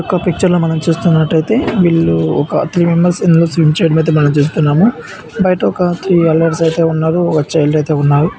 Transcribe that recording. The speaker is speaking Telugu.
ఒక పిక్చర్ ల మనం చూస్తున్నట్టయితే వాళ్ళు ఒక త్రీ మెంబర్స్ ఇందులో స్విమ్ చేయడం అయితే మనం చూస్తున్నాము బయట ఒక త్రీ అడల్ట్స్ ఉన్నారు ఒక చైల్డ్ అయితే ఉన్నారు.